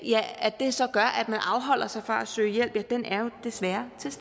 man afholder sig fra at søge hjælp er jo desværre til